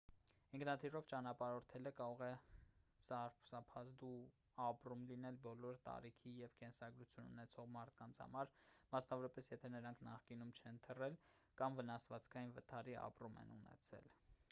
ինքնաթիռով ճանապարհորդելը կարող է սարսափազդու ապրում լինել բոլոր տարիքի և կենսագրություն ունեցող մարդկանց համար մասնավորապես եթե նրանք նախկինում չեն թռել կամ վնասվածքային վթարի ապրում են ունեցել